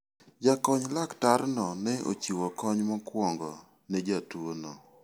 Jakony laktarno ne ochiwo kony mokwongo ne jatuono.